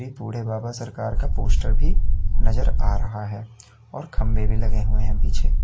बूढ़े बाबा सरकार का पोस्टर भी नजर आ रहा है और खंभे भी लगे हुए हैं पीछे।